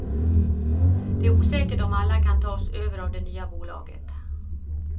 Det är osäkert om alla kan tas över av det nya bolaget.